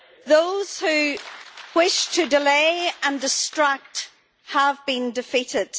Those who wish to delay and distract have been defeated.